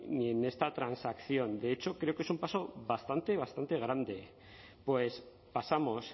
ni en esta transacción de hecho creo que es un paso bastante bastante grande pues pasamos